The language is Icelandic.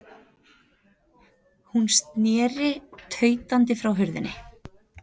Hún sneri tautandi frá hurðinni.